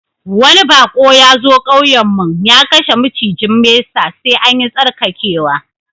Wani bako ya zo ƙauyen mun, ya kashe macijin mesa, sai an yi tsarkakewa.